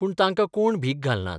पूण तांकां कोण भीक घालनात.